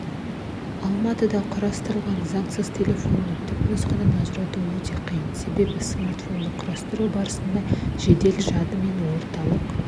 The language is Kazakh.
алматыда құрастырылған заңсыз телефонды түпнұсқадан ажырату өте қиын себебі смартфонды құрастыру барысында жедел жады мен орталық